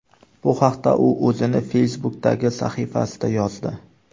Bu haqda u o‘zining Facebook’dagi sahifasida yozdi .